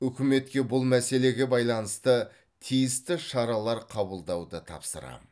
үкіметке бұл мәселеге байланысты тиісті шаралар қабылдауды тапсырамын